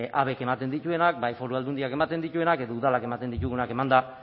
habek ematen dituenak bai foru aldundiak ematen dituenak edo udalak ematen ditugunak emanda